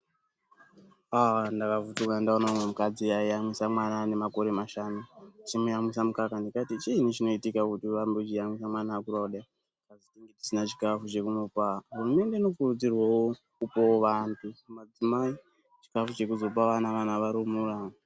Aah ndakavhunduka ndaone umwe mukadzi ayiyamwisa mwana anga ane makore mashanu achimuyamwisa mukaka ndikati chiiini chinoita kuti urambe uchimuyamiswa kudayi kukazi tinenge tisina chikafu chokumupa hurumende inokurudzirwa kupawo vandu kunyanya madzimai chikafu chokuzopa vana varumura.